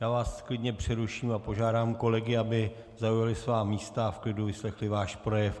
Já vás klidně přeruším a požádám kolegy, aby zaujali svá místa a v klidu vyslechli váš projev.